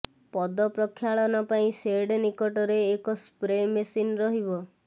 ପଦ ପ୍ରକ୍ଷାଳନ ପାଇଁ ସେଡ୍ ନିକଟରେ ଏକ ସ୍ପ୍ରେ ମେସିନ ରହିବ